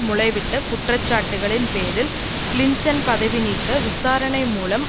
முளைவிட்ட குற்றச்சாட்டுக்களின் பேரில் கிளிண்டன் பதவி நீக்க விசாரணை மூலம்